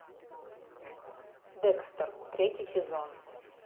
декстер третий сезон